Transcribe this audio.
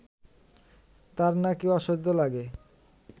তাঁর নাকি অসহ্য লাগে